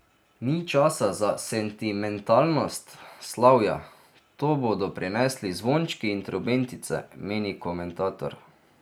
Ni časa za sentimentalnost, slavja, to bodo prinesli zvončki in trobentice, meni komentator.